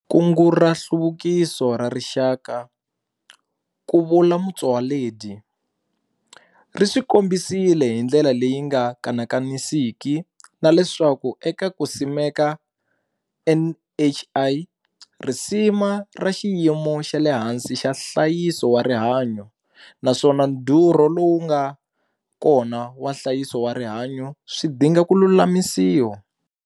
Kungu ra Nhluvukiso ra Rixaka, ku vula Motsoaledi, ri swi kombisile hindlela leyi nga kanakanisiki na leswaku eka ku simeka NHI, risima ra xiyimo xa le hansi xa nhlayiso wa rihanyu naswona ndhurho lowu nga kona wa nhlayiso wa rihanyu swi dinga ku lulamisiwa.